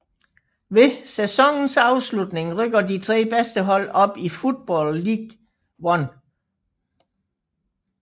Ved sæsonens afslutning rykker de tre bedste hold op i Football League One